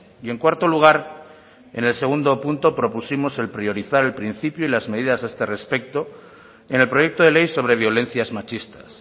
y en cuarto lugar en el segundo punto propusimos el priorizar el principio y las medidas a este respecto en el proyecto de ley sobre violencias machistas